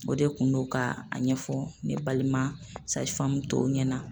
O de kun do ka a ɲɛfɔ ne balima tɔw ɲɛna.